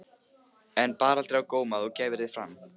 En bar aldrei á góma að þú gæfir þig fram?